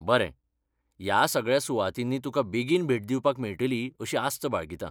बरें, ह्या सगळ्या सुवातींनी तुका बेगीन भेट दिवपाक मेळटली अशी आस्त बाळगितां.